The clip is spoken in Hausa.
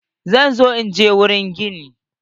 Zan zo inje wurin gini.